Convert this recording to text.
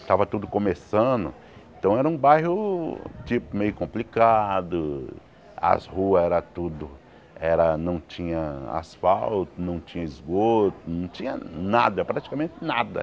Estava tudo começando, então era um bairro tipo meio complicado, as ruas eram tudo era não tinham asfalto, não tinha esgoto, não tinha nada, praticamente nada.